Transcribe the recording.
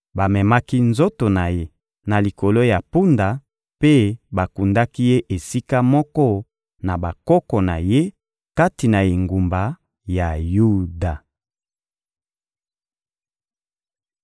Bamemaki nzoto na ye na likolo ya mpunda mpe bakundaki ye esika moko na bakoko na ye kati na engumba ya Yuda.